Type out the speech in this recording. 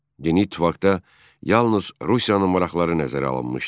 Yeni ittifaqda yalnız Rusiyanın maraqları nəzərə alınmışdı.